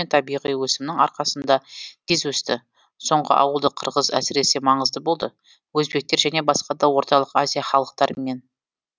табиғи өсімнің арқасында тез өсті соңғы ауылдық қырғыз әсіресе маңызды болды өзбектер және басқа да орталық азия халықтарымен